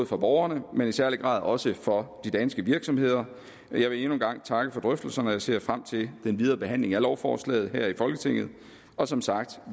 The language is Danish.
for borgerne men i særlig grad også for de danske virksomheder jeg vil endnu en gang takke for drøftelserne og jeg ser frem til den videre behandling af lovforslaget her i folketinget og som sagt